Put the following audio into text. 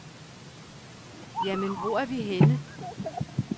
Jamen, hvor er vi henne?